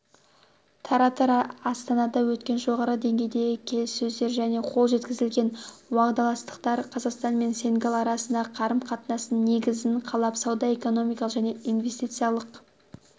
тараптар астанада өткен жоғары деңгейдегі келіссөздер және қол жеткізілген уағдаластықтар қазақстан мен сенегал арасындағы қарым-қатынастың негізін қалап сауда-экономикалық және инвестициялық